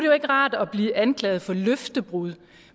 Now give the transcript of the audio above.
jo ikke rart at blive anklaget for løftebrud